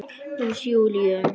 Hús Júlíu.